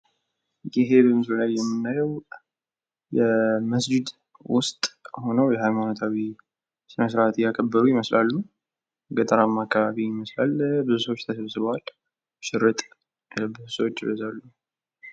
ይሄ በምስሉ ላይ የምናዬው የመስጅድ ውስጥ ሁነው የሀይማኖታዊ ስነስራት እያከበሩ ይመስላሉ። ገጠራማ አካባቢ ይመስላል። ብዙ ሰዎች ተሰብስበዋል ሽርጥ የለበሱ ሰዎች ይበዛሉ።